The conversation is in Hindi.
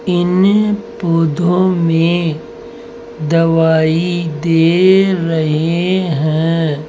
इन पौधों में दवाई दे रहे हैं।